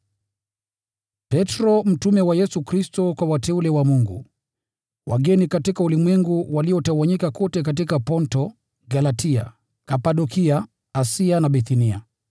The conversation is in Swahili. Petro, mtume wa Yesu Kristo: Kwa wateule wa Mungu, wageni katika ulimwengu, waliotawanyika kote katika Ponto, Galatia, Kapadokia, Asia na Bithinia.